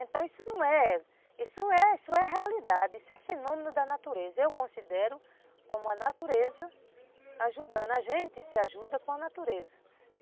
Então isso não é, isso é a realidade, isso é fenômeno da natureza, eu considero como a natureza ajudando a gente, se ajuda com a natureza.